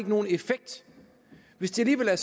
nogen effekt hvis det alligevel er